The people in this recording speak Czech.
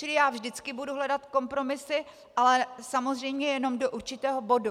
Čili já vždycky budu hledat kompromisy, ale samozřejmě jenom do určitého bodu.